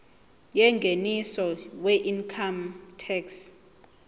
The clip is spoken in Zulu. yengeniso weincome tax